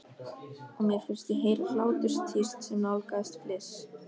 Og mér fannst ég heyra hláturstíst sem nálgaðist fliss.